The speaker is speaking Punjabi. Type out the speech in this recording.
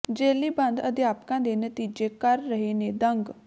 ਜੇਲ੍ਹੀਂ ਬੰਦ ਅਧਿਆਪਕਾਂ ਦੇ ਨਤੀਜੇ ਕਰ ਰਹੇ ਨੇ ਦੰਗ